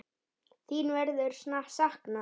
Þín verður saknað.